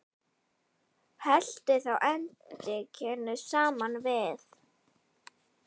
Helltu þá edikinu saman við.